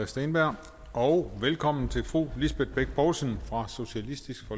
steenberg og velkommen til fru lisbeth bech poulsen fra socialistisk